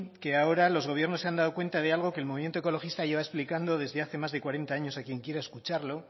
que ahora los gobiernos se han dado cuenta de algo que el movimiento ecologista lleva explicando desde hace más de cuarenta años a quien quiera escucharlo